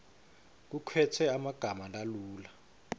kukhetfwe emagama lalula